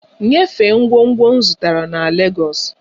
Nyefee ngwongwo m zụtara na Legọs!